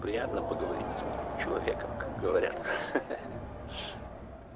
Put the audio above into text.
приятно поговорить с умным человеком как говорят